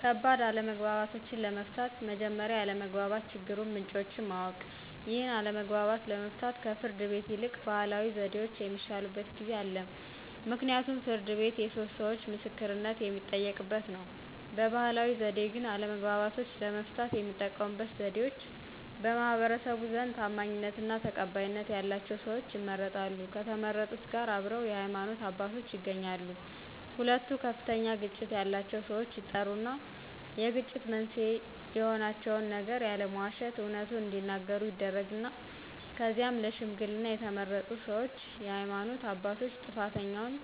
ከባድ አለመግባባቶችን ለመፍታት መጀመሪያ የአለመግባባት የችግሩን ምንጮችን ማወቅ። ይህን አለመግባባት ለመፍታት ከፍርድ ቤት ይልቅ ባህላዊ ዘዴዎች የሚሻሉበት ጊዜ አለ ምክንያቱም ፍርድ ቤት የሶስት ሰዎቾ ምስክርነት የሚጠየቅበት ነው። በባህላዊ ዘዴ ግን አለመግባባቶችን ለመፍታት የሚጠቀሙበት ዘዴዎች በማህበረሰቡ ዘንድ ታማኝነትና ተቀባይነት ያላቸው ሰዎች ይመረጣሉ ከተመረጡት ጋር አብረው የሃይማኖት አባቶች ይገኛሉ ሁለቱ ከፍተኛ ግጭት ያላቸው ሰዎች ይጠሩና የግጭት መንስኤ የሆናቸውን ነገር ያለመዋሸት አውነቱን እዲናገሩ ይደረግና ከዚያም ለሽምግልና የተመረጡ ሰዎችና የሃይማኖት አባቶች ጥፋተኛውን